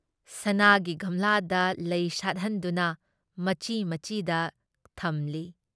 ꯁꯅꯥꯥꯒꯤ ꯒꯝꯂꯥꯗ ꯂꯩ ꯁꯥꯠꯍꯟꯗꯨꯅ ꯃꯆꯤ ꯃꯆꯤꯗ ꯊꯝꯂꯤ ꯫